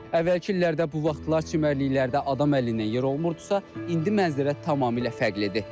Əvvəlki illərdə bu vaxtlar çimərliklərdə adam əlindən yer olmurdusa, indi mənzərə tamamilə fərqlidir.